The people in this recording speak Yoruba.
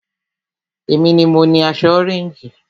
Èmi ni mo ni aṣọ ọréńjì